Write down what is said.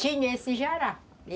Tinha esse jará.